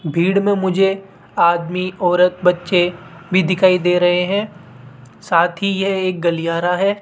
भीड़ में मुझे आदमी औरत बच्चे भी दिखाई दे रहे हैं साथ ही यह एक गलीयारा है।